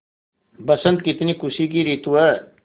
बसंत कितनी खुशी की रितु है